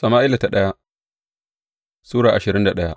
daya Sama’ila Sura ashirin da daya